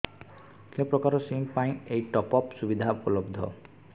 କେଉଁ ପ୍ରକାର ସିମ୍ ପାଇଁ ଏଇ ଟପ୍ଅପ୍ ସୁବିଧା ଉପଲବ୍ଧ